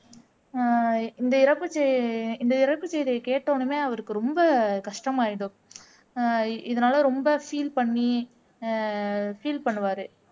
ஆஹ் இந்த இறப்பு செய் இந்த இறப்புச் செய்தி கேட்ட உடனே அவருக்கு ரொம்ப கஷ்டமாயிடும் ஆஹ் இதனால ரொம்ப ஃபீல் பண்ணி ஆஹ் ஃபீல் பண்ணுவாரு